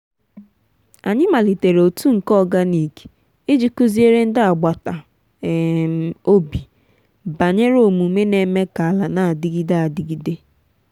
anyị malitere otu nke organic iji kụziere ndị agbata um obi banyere omume n’eme ka ala na-adịgide adịgide.